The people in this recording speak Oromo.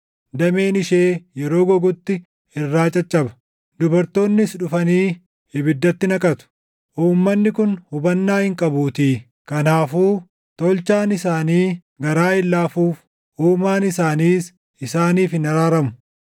Dameen ishee yeroo gogutti irraa caccaba; dubartoonnis dhufanii ibiddatti naqatu. Uummanni kun hubannaa hin qabuutii; kanaafuu Tolchaan isaanii garaa hin laafuuf; Uumaan isaaniis isaaniif hin araaramu.